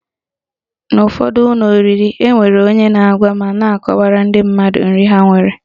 N'ụfọdụ ụlọ oriri, enwere onye na-agwa ma na-akọwara ndị mmadụ nri ha nwere